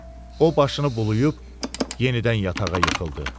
O başını bulayıb, yenidən yatağa yıxıldı.